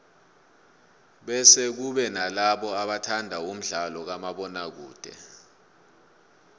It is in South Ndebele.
bese kube nalabo abathanda umdlalo kamabona kude